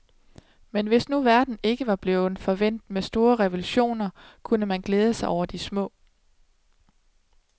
Men hvis nu verden ikke var blevet forvænt med store revolutioner, kunne man glæde sig over de små.